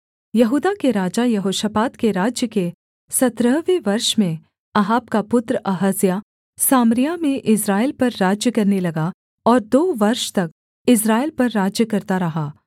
यहूदा के राजा यहोशापात के राज्य के सत्रहवें वर्ष में अहाब का पुत्र अहज्याह सामरिया में इस्राएल पर राज्य करने लगा और दो वर्ष तक इस्राएल पर राज्य करता रहा